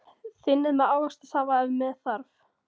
Þynnið með ávaxtasafa ef með þarf.